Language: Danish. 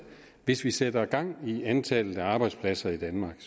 hvis vi sætter gang i antal arbejdspladser i danmark